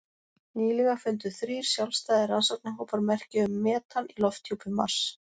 Nýlega fundu þrír sjálfstæðir rannsóknarhópar merki um metan í lofthjúpi Mars.